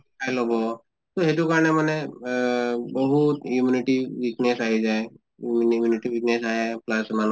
খাই লʼব তʼ সেইটো কাৰণে মানে অহ বহুত immunity weakness আহি যায়। immunity weakness আহে plus মানুহ